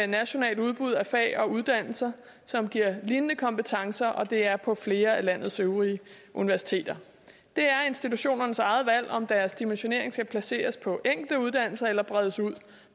nationalt udbud af fag og uddannelser som giver lignende kompetencer og det er der på flere af landets øvrige universiteter det er institutionernes eget valg om deres dimensionering skal placeres på enkelte uddannelser eller bredes ud